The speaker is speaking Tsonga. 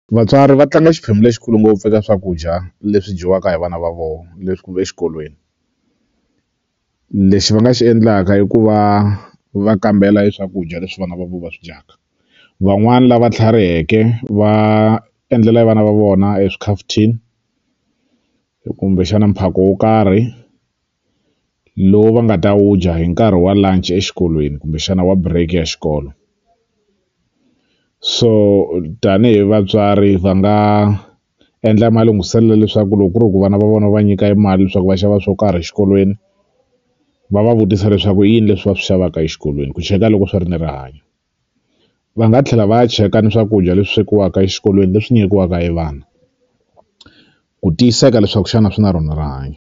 Vatswari va tlanga xiphemu lexikulu ngopfu eka swakudya leswi dyiwaka hi vana va voho leswi kumbe exikolweni lexi va nga xi endlaka i ku va va kambela e swakudya leswi vana va vo va swi dyaka van'wani lava tlhariheke va endlela e vana va vona e swikhafuthini kumbexana mphako wo karhi lowu va nga ta wu dya hi nkarhi wa lunch exikolweni kumbexana wa break ya xikolo so tanihi vatswari va nga endla ma lunghiselo leswaku loko ku ri hi ku vana va vona va va nyika e mali leswaku va xava swo karhi a xikolweni va va vutisa leswaku i yini leswi va swi xavaka exikolweni ku cheka loko swi ri ni rihanyo va nga tlhela va ya cheka ni swakudya leswi swekiwaka exikolweni leswi nyikiwaka e vana ku tiyiseka leswaku xana swi na rona rihanyo.